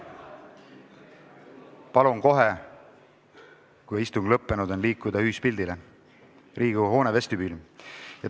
Palun kohe, kui istung on lõppenud, liikuda ühispildi tegemiseks Riigikogu hoone vestibüüli.